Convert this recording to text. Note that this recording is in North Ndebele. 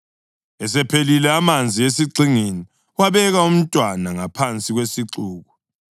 Esephelile amanzi esigxingini, wabeka umntwana ngaphansi kwesixuku.